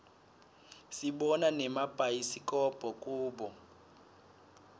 sibona nemabhayisikobho kubo